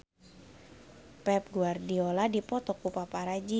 Pep Guardiola dipoto ku paparazi